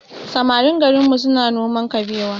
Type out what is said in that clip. Samarin garinmu suna noma kabewa